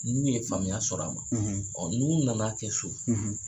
N'u ye faamuya sɔrɔ a la, n'u nan'a kɛ so